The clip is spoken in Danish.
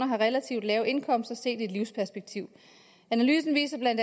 har relativt lave indkomster set i et livsperspektiv analysen viser bla